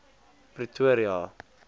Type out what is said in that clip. pretoria